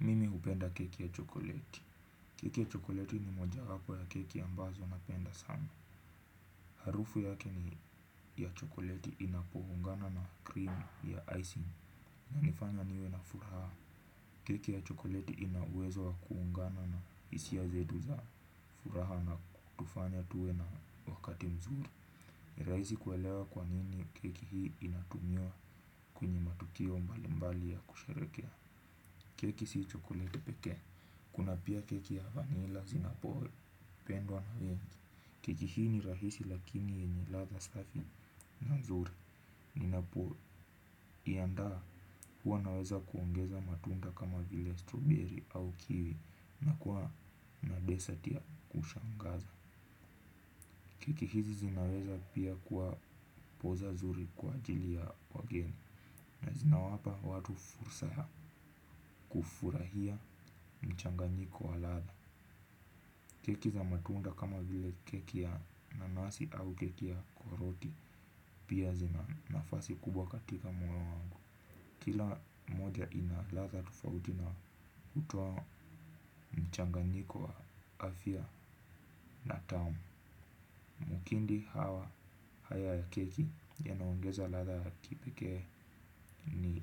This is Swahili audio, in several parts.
Mimi hupenda keki ya chokoleti. Keki ya chokoleti ni moja wapo ya keki ambazo napenda sana. Harufu yake ni ya chokoleti inapoungana na cream ya icing. Inanifanya niwe na furaha. Keki ya chokoleti ina uwezo wa kuungana na hisia zetu za furaha na kutufanya tuwe na wakati mzuri. Ni rahisi kuelewa kwa nini keki hii inatumiwa kwenye matukio mbalimbali ya kusherekea. Keki si chokoleti pekee. Kuna pia keki ya vannila zinapopendwa na wengi. Keki hii ni rahisi lakini ni ladha safi na nzuri ninapoiandaa huwa naweza kuongeza matunda kama vile strawberry au kiwi na kuwa na dessert ya kushangaza. Keki hizi zinaweza pia kuwa poza zuri kwa ajili ya wageni. Na zinawapa watu fursa ya kufurahia mchanganyiko wa ladha. Keki za matunda kama vile keki ya nanasi au keki ya karoti pia zina nafasi kubwa katika moyo wangu. Kila moja ina ladha tofauti na hutoa mchanganyiko wa afya na tamu. Mkindi hawa haya ya keki yanaongeza ladha ya kipekee ni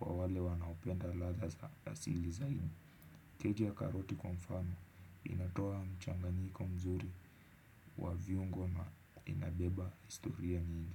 kwa wale wanaopenda ladha za asili zaidi. Keki ya karoti kwa mfano inatoa mchanganyiko mzuri wa viungo na inabeba historia nyingi.